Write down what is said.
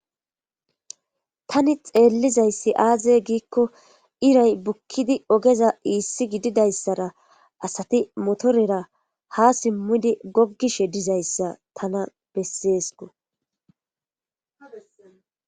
tani xeellizayssi aaze giikko iray bukkidi ogeza iissi gididayssara asati motorera ha simmudi goggishe dizayssa tana besseesko